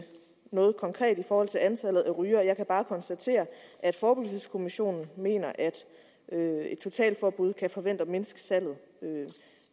konkret i forhold til antallet af rygere jeg kan bare konstatere at forebyggelseskommissionen mener at et totalforbud kan forventes at mindske salget